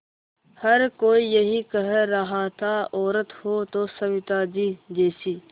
हर कोई यही कह रहा था औरत हो तो सविताजी जैसी